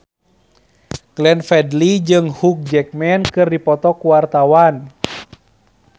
Glenn Fredly jeung Hugh Jackman keur dipoto ku wartawan